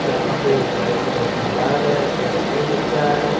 यहां पे एक वाइट कलर की कार है एक ई रिक्शा है।